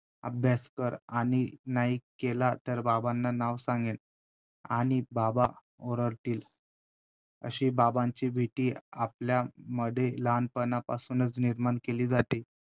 अभ्यास कर आणि नाही केला तर बाबांना नाव सांगेन आणि बाबा ओरडतील. अशी बाबांची भीती आपल्यामध्ये लहानपणापासूनच निर्माण केली जाते.